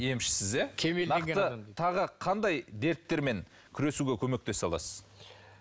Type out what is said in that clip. емшісіз иә нақты тағы қандай дерттермен күресуге көмектесе аласыз